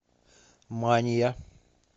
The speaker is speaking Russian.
мания